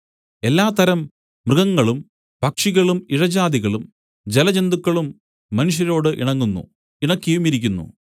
എല്ലാ തരം മൃഗങ്ങളും പക്ഷികളും ഇഴജാതികളും ജലജന്തുക്കളും മനുഷ്യരോട് ഇണങ്ങുന്നു ഇണക്കിയുമിരിക്കുന്നു